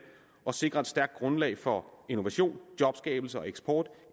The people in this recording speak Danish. og sikre et stærkt grundlag for innovation jobskabelse og eksport